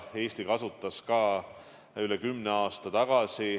Eesti kasutas seda ka üle kümne aasta tagasi.